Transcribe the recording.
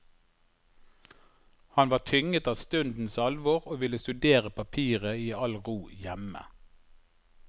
Han var tynget av stundens alvor og ville studere papiret i all ro hjemme.